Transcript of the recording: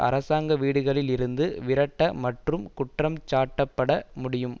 அரசாங்க வீடுகளில் இருந்து விரட்ட மற்றும் குற்றம்சாட்டப்பட முடியும்